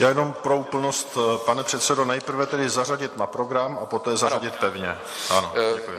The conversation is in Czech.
Já jenom pro úplnost, pane předsedo, nejprve tedy zařadit na program a poté zařadit pevně?